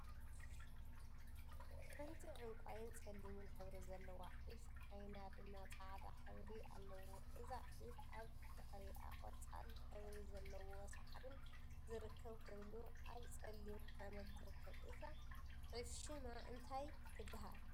ሓንቲ ዕንቋይን ፀሊምን ሕብሪ ዘለዋ ዒፍ ዓይና ድማ ፃዕዳ ሕብረ አለዎ፡፡ እዛ ዒፍ አብ ድሕሪአ ቆፃል ሕብሪ ዘለዎ ሳዕሪን ዝርከብ ኮይኑ አብ ፀሊም ሓመድ ትርከብ፡፡ እዛ ዒፈ ሹማ እንታይ ትበሃል?